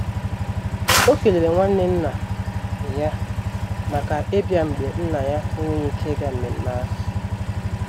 O kelere nwanne nna ya maka ịbia mgbe Nna ya enweghị ike ịga mmemme ahụ.